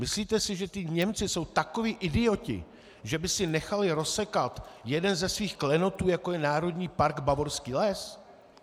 Myslíte si, že ti Němci jsou takoví idioti, že by si nechali rozsekat jeden ze svých klenotů, jakým je Národní park Bavorský les?